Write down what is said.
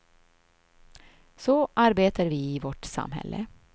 Så arbetar vi i vårt samhälle.